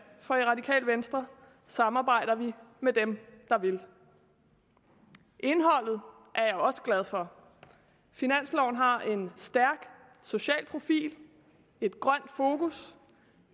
for i radikale venstre samarbejder vi med dem der vil indholdet er jeg også glad for finansloven har en stærk social profil et grønt fokus